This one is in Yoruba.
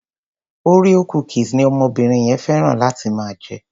Oreo cookies ni omobìnrin yẹn féràn láti máa jẹ.